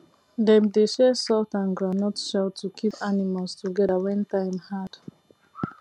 dem dey share salt and groundnut shell to keep animals together when time hard